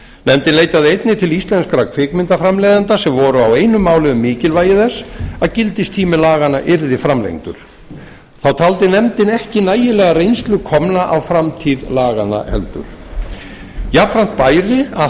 nefndin leitaði einnig til íslenskra kvikmyndaframleiðenda sem voru á einu máli um mikilvægi þess að gildistími laganna yrði framlengdur þá taldi nefndin ekki nægilega reynslu komna á framtíð laganna heldur jafnframt bæri að